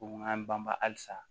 Ko n k'an banba halisa